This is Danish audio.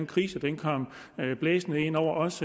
krisen kom blæsende ind over os